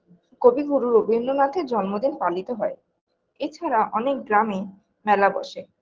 কবি গুরু রবীন্দ্রনাথের জন্মদিন পালিত হয় এছাড়া অনেক গ্রামে মেলা বসে